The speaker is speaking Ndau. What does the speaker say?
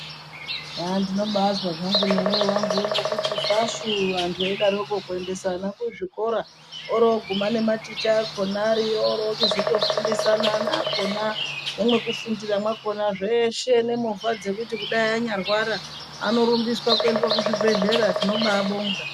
Aandinobaazwa zvangu nemoyo wangu uno kuti fashuu antu aidaroko kuendesa ana kuzvikora oronguma nematicha akhona ariyo oroochizotofundisinana kona nemwekufundira mwakhona zveeshe nemovha dzekuti kudai anyarwara anorumbiswa kuendwa kuzvibhehlera tinobaabonga.